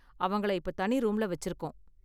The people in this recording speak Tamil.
அவங்கள இப்போ தனி ரூம்ல வெச்சிருக்கோம்.